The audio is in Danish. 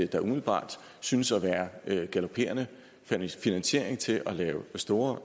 der umiddelbart synes at være galoperende finansiering til at lave store